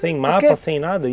Sem mapa, sem nada?